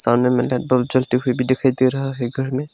सामने में एक टेंपल दिखाई दे रहा है घर में।